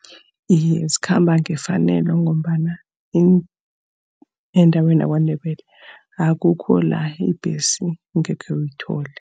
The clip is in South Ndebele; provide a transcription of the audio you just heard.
Iye, zikhamba ngefanelo ngombana endaweni yaKwaNdebele, akukho la ibhesi ungekhe uyithole.